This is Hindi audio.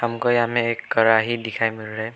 हमको यहां में एक कड़ाही दिखाई मिल रहा है।